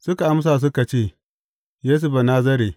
Suka amsa suka ce, Yesu Banazare.